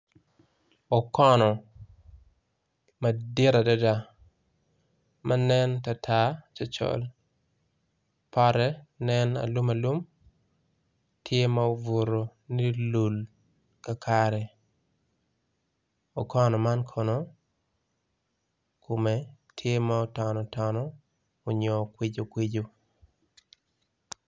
Okono madit adada ma nen tatar cocol, pote nen alum alum, tye ma obuto ni lul ka kare okono man kono kume tye ma otono tono onyo okwiju kwiju.